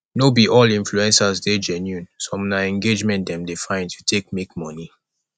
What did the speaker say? no be all influencers dey genuine some na engagement dem dey find to take make money